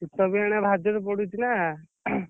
ଶୀତ ବି ଇଆଡେ ଭାରିଜୋରେ ପଡୁଛି ନା।